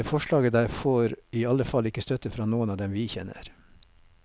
Det forslaget der får i alle fall ikke støtte fra noen av dem vi kjenner.